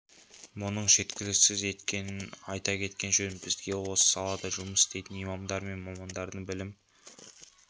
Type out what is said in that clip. мұның жеткіліксіз екенін айта кеткен жөн бізге осы салада жұмыс істейтін имамдар мен мамандардың білім